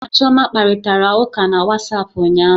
Mụ na Chioma kparịtara ụka na Wasapu ụnyaahụ